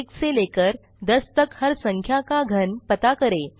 एक से लेकर 10 तक हर संख्या का घन पता करें